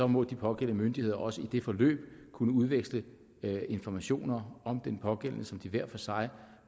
må de pågældende myndigheder også i det forløb kunne udveksle informationer om den pågældende som de hver for sig